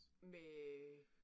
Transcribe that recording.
Med